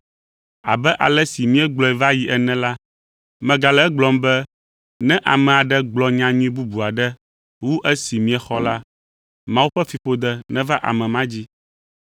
Abe ale si míegblɔe va yi ene la, megale egblɔm be: ne ame aɖe gblɔ nyanyui bubu aɖe wu esi miexɔ la, Mawu ƒe fiƒode neva ame ma dzi.